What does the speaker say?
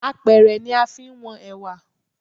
Apẹ̀rẹ̀ ni a fi ń wọn Ẹ̀wà.